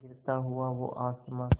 गिरता हुआ वो आसमां से